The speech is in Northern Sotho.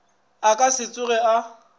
a ka se tsoge a